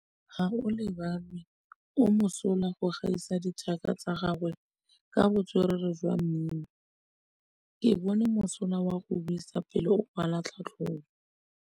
Gaolebalwe o mosola go gaisa dithaka tsa gagwe ka botswerere jwa mmino. Ke bone mosola wa go buisa pele o kwala tlhatlhobô.